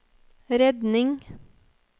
redning